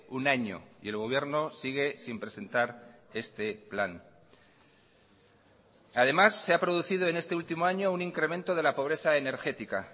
un año y el gobierno sigue sin presentar este plan además se ha producido en este último año un incremento de la pobreza energética